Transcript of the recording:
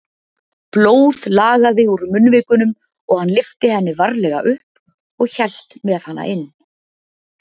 Blóð lagaði úr munnvikunum og hann lyfti henni varlega upp og hélt með hana inn.